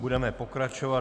Budeme pokračovat.